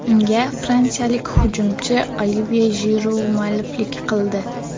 Unga fransiyalik hujumchi Olivye Jiru mualliflik qildi.